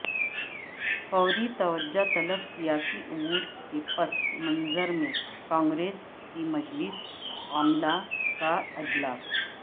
فوری توجہ طلب سیاسی امور کے پس منظر میں کانگریس کی مجلس عاملہ کا اجلاس